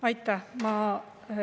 Aitäh!